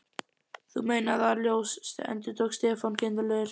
Þú meinar ÞAÐ ljós endurtók Stefán kindarlegur.